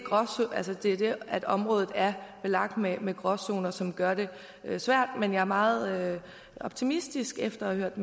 at området er belagt med med gråzoner som gør det svært men jeg er meget optimistisk efter at